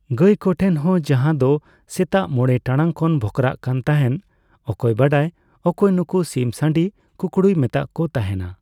ᱜᱟᱭ ᱠᱚᱴᱷᱮᱱ ᱦᱚᱸ ᱡᱟᱦᱟᱸ ᱫᱚ ᱥᱮᱛᱟᱜ ᱢᱚᱲᱮ ᱴᱟᱲᱟᱝ ᱠᱚ ᱵᱷᱚᱸᱠᱨᱟᱜ ᱠᱟᱱ ᱛᱟᱦᱮᱱ᱾ ᱚᱠᱚᱭ ᱵᱟᱰᱟᱭ ᱚᱠᱚᱭ ᱱᱩᱠᱩ ᱥᱤᱢ ᱥᱟᱬᱤ ᱠᱩᱠᱩᱲᱩᱭ ᱢᱮᱛᱟᱫ ᱠᱚ ᱛᱟᱦᱮᱱᱟ?